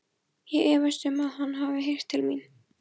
Ég efast um, að hann hafi heyrt til mín.